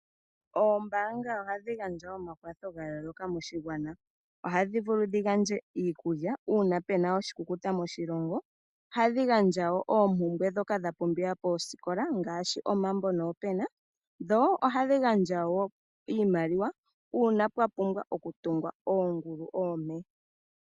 Oombaanga ohadhi gandja omakwatho gayooloka moshigwana. Ohadhi vulu dhigandje iikulya uuna puna oshikukuta moshilongo. Ohadhi gandja wo oompumbwe ndhoka dhapumbiwa poosikola ngaashi omambo noopena. Dho ohadhi gandjawo iimaliwa uuna pwa pumbwa okutungwa oongulu oompe.